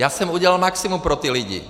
Já jsem udělal maximum pro ty lidi.